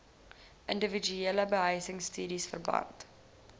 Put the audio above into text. indiwiduele behuisingsubsidies verband